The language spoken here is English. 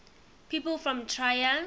people from trier